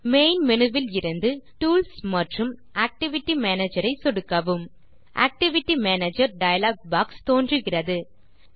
main menu இலிருந்துTools மற்றும் activity manager ஐ சொடுக்கவும் ஆக்டிவிட்டி மேனேஜர் டயலாக் பாக்ஸ் தோன்றுகிறது